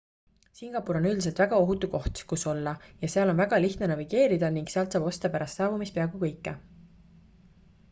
singapur on üldiselt väga ohutu koht kus olla ja seal on väga lihtne navigeerida ning sealt saab osta pärast saabumist peaaegu kõike